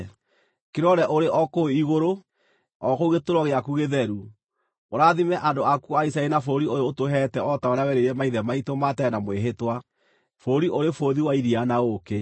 Kĩrore ũrĩ o kũu igũrũ, o kũu gĩtũũro gĩaku gĩtheru, ũrathime andũ aku a Isiraeli na bũrũri ũyũ ũtũheete o ta ũrĩa werĩire maithe maitũ ma tene na mwĩhĩtwa, bũrũri ũrĩ bũthi wa iria na ũũkĩ.”